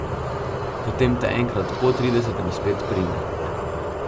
Potem te enkrat po tridesetem spet prime.